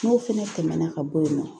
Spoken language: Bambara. N'o fɛnɛ tɛmɛna ka bɔ yen nɔ